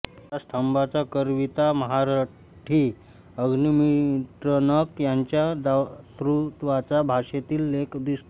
या स्तंभाचा करविता महारठी अग्निमित्रणक याच्या दातृत्वाचा भाषेतील लेख दिसतो